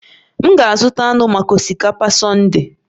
M ga-azụta anụ maka osikapa Sunday